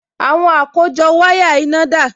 Àwọn àkójọ wáyà iná dà?